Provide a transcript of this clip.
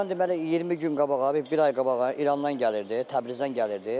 Bundan deməli 20 gün qabağa, bir ay qabağa İrandan gəlirdi, Təbrizdən gəlirdi.